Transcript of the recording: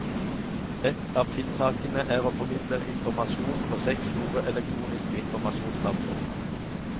Et av tiltakene er å formidle informasjon på seks store elektroniske informasjonstavler.